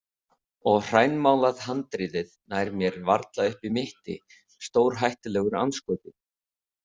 Og hrænmálað handriðið nær mér varla upp í mitti, stórhættulegur andskoti.